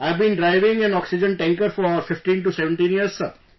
I've been driving an oxygen tanker for 15 17 years Sir